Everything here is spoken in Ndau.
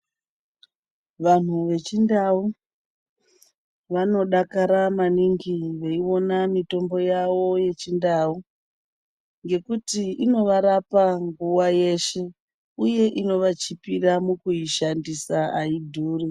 Vantu vechindau vanodakara maningi veiona mitombo yavo yechindau, ngekuti inovarapa nguwa yeshe uye inovachipira mukuishandisa, haidhuri.